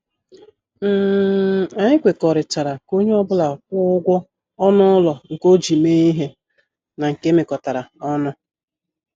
um Anyị kwekọrịtara ka onye ọ bụla kwụọ ụgwọ ọnụ ụlọ nke o ji mee ihe na nke emekotara ọnụ